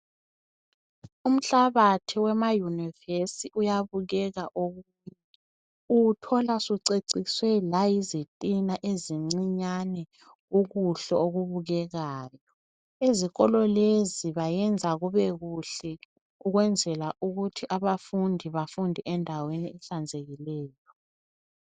Umhlabathi wemayunivesi uyabukeka okunye. Uwuthola usuceciswe nayizitina ezincinyane. Ubuhle, obubukekayo. Ezikolo lezi benza kube kuhle, ukwenzela ukuthi abafundi, bafundele endaweni ehlanzekileyo.